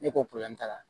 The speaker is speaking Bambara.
Ne ko t'a la